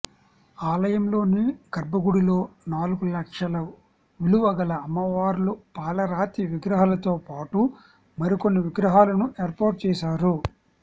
ఆలయంలోని గర్భగుడిలో నాలుగు లక్షల విలువ గల అమ్మవార్ల పాలరాతి విగ్రహాలతో పాటు మరికొన్ని విగ్రహాలను ఏర్పాటు చేశారు